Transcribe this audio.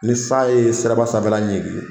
Ni san ye siraba sanfɛla ɲigin